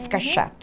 Fica chato.